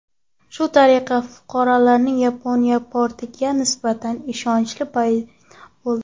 Shu tariqa fuqarolarning Yagona portalga nisbatan ishonchlari paydo bo‘ldi.